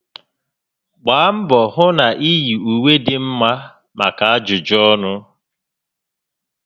Gbaa mbọ hụ na iyi ùwé dị mma maka ajụjụ ọnụ